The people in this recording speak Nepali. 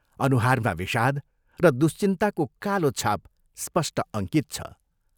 अनुहारमा विषाद र दुश्चिन्ताको कालो छाप स्पष्ट अङ्कित छ।